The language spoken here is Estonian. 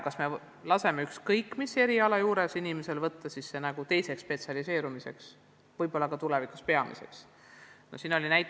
Kas me laseme ükskõik mis õppekava õppuril sellele teise erialana spetsialiseeruda, et see ehk tulevikus tema peamiseks tegevusalaks saaks?